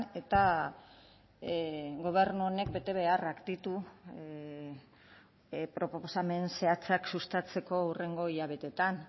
eta gobernu honek betebeharrak ditu proposamen zehatzak sustatzeko hurrengo hilabeteetan